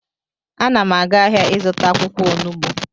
Ana m aga ahịa ịzụta akwụkwọ onugbu